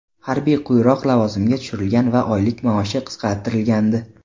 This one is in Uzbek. Harbiy quyiroq lavozimga tushirilgan va oylik maoshi qisqartirilgandi.